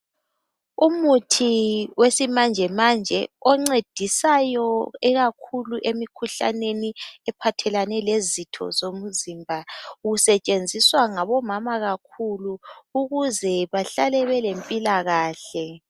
Umuthi wesimanje manje oncedisayo ikakhulu emikhuhlaneni ephathelane lezitho zomzimba usetshenziswa ngabomama kakhulu ukuze bahlale belempilakahle.